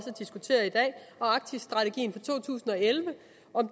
arktisstrategien fra to tusind og elleve